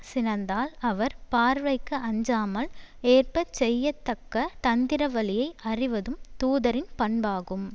சினந்தால் அவர் பார்வைக்கு அஞ்சாமல் ஏற்ப செய்ய தக்க தந்திரவழியை அறிவதும் தூதரின் பண்பாகும்